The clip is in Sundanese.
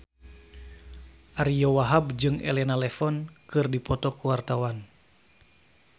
Ariyo Wahab jeung Elena Levon keur dipoto ku wartawan